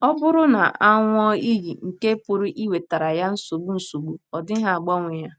Ọ bụrụ na ọ ṅụọ iyi nke pụrụ iwetara ya nsogbu nsogbu, ọ dịghị agbanwe ya....